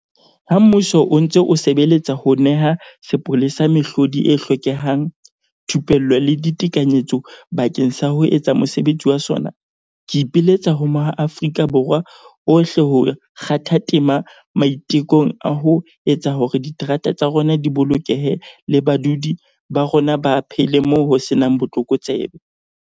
Ha mmuso o ntse o sebeletsa ho neha sepolesa mehlodi e hlokehang, thupello le ditekanyetso bakeng sa ho etsa mosebetsi wa sona, Ke ipiletsa ho maAfrika Borwa ohle ho kgatha tema maitekong a ho etsa hore diterata tsa rona di bolokehe le badudi ba rona ba phele moo ho se nang botlokotsebe.